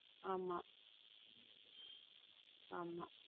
ஆம ஆமா.